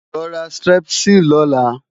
Lo ra Strepsil lọ́la!